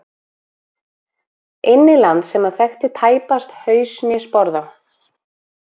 Inn í land sem hann þekkti tæpast haus né sporð á.